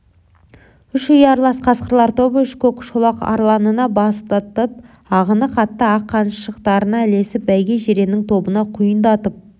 үш ұялас қасқырлар тобы үш көк шолақ арланына бастатып ағыны қатты ақ қаншықтарына ілесіп бәйге жиреннің тобына құйындатып